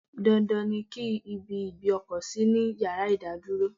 Dandan ni ki ibi ìgbé ọkọ̀ sí ní ìyára ìdádúró.